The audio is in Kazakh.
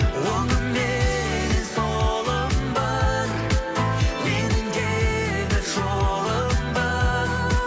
оңымменнен солым бар менің де бір жолым бар